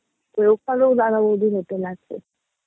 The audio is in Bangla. ওখানেও দাদা বৌদির Hotel আছে